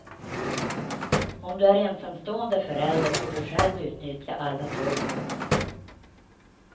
Om du är ensamstående förälder får du själv utnyttja alla tolv månaderna.